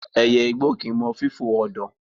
Ẹyẹ igbó kì í mọ fífò ọ̀dàn.